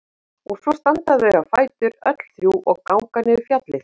Og svo standa þau á fætur öll þrjú og ganga niður fjallið.